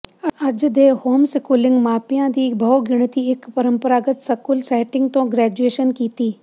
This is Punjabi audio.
ਅੱਜ ਦੇ ਹੋਮਸਕੂਲਿੰਗ ਮਾਪਿਆਂ ਦੀ ਬਹੁਗਿਣਤੀ ਇੱਕ ਪਰੰਪਰਾਗਤ ਸਕੂਲ ਸੈਟਿੰਗ ਤੋਂ ਗ੍ਰੈਜੂਏਸ਼ਨ ਕੀਤੀ